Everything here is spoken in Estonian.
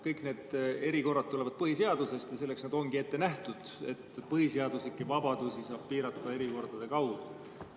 Kõik need erikorrad tulenevad põhiseadusest ja selleks need ongi ette nähtud, et põhiseaduslikke vabadusi saab piirata erikordade kaudu.